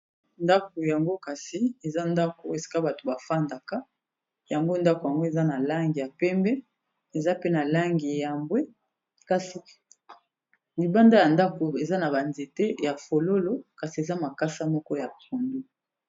Ndako yango kasi eza ndako esika bato ba fandaka yango ndako yango eza na langi ya pembe, eza pe na langi ya mbwe, kasi libanda ya ndako eza na ba nzete ya fololo kasi eza na makasa moko ya pondu.